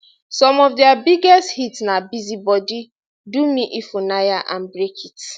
some of dia biggest hits na busy body do me ifunaya and break it